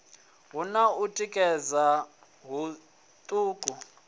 hu na u tikedza huṱuku